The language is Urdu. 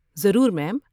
ضرور میم۔